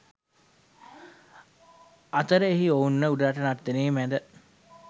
අතර එහිදී ඔවුන්ව උඩරට නර්තන මැද